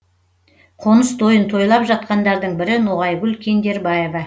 қоныс тойын тойлап жатқандардың бірі ноғайгүл кендербаева